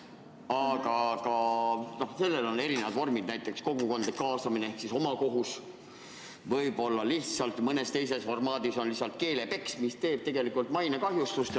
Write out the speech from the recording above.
Aga sellel on erinevad vormid, näiteks kogukondlik kaasamine ehk omakohus, võib-olla mõnes teises formaadis on selleks lihtsalt keelepeks, mis tekitab mainekahju.